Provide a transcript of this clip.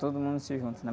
todo mundo se junta, né?